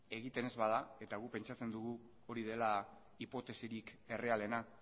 egiten ez bada eta guk pentsatzen dugu hori dela hipotesirik errealena